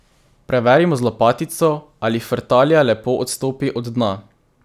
Preverimo z lopatico, ali frtalja lepo odstopi od dna.